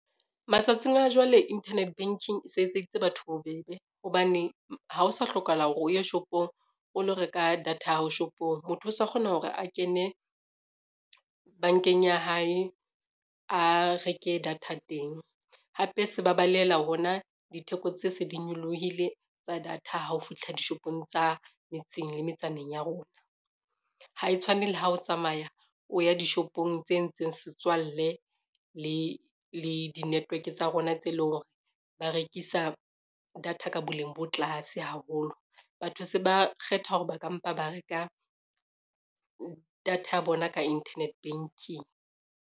Matsatsing a jwale, internet banking e se etseditse batho bobebe hobane ha o sa hlokahala hore o ye shopong, o lo reka data ya hao shopong. Motho o sa kgona hore a kene bankeng ya hae, a reke data teng, hape se ba balehela hona ditheko tse se di nyolohile tsa data ha o fihla dishopong tsa metseng, le metsaneng ya rona. Ha e tshwane le ha o tsamaya o ya dishopong tse ntseng setswalle le di-network tsa rona tse leng hore ba rekisa data ka boleng bo tlase haholo. Batho se ba kgetha hore ba ka mpa ba reka data ya bona ka internet banking.